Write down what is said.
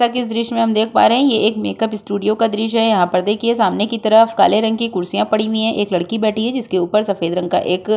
आ कि इस दृश्य में हम देख पा रहे हैं ये एक मेकअप स्टूडियो का दृश्य है। यहाँ पर देखिए सामने की तरफ काले रंग की कुर्सियां पड़ी वी हैं। एक लड़की बैठी है जिसके ऊपर सफेद रंग का एक --